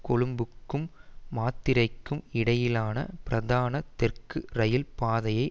கொழும்புக்கும் மாத்தறைக்கும் இடையிலான பிரதான தெற்கு இரயில் பாதையை